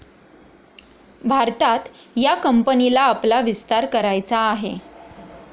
भारतात या कंपनीला आपला विस्तार करायचा आहे.